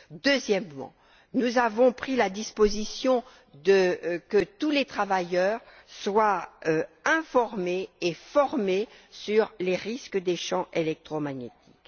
Deuxièmement, nous avons pris la disposition que tous les travailleurs soient informés et formés sur les risques des champs électromagnétiques.